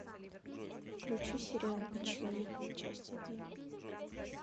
включи сериал быть человеком часть один